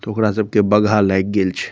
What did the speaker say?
ते ओकरा सबके बघा लएग गेल छै।